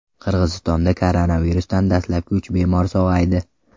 Qirg‘izistonda koronavirusdan dastlabki uch bemor sog‘aydi.